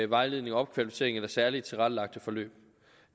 vejledende opkvalificering eller særligt tilrettelagte forløb